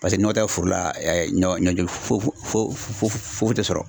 Paseke ni nɔgɔ tɛ foro ɛ ɲɔ fo fo fo foyi tɛ sɔrɔ.